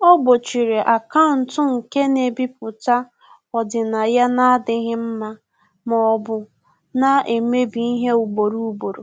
Ọ́ gbòchìrì akaụntụ nke nà-èbípụ́tá ọ́dị́nàya nà-ádị́ghị́ mma ma ọ́ bụ nà-èmébi ihe ugboro ugboro.